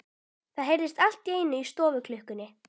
Það heyrðist allt í einu í stofuklukkunni.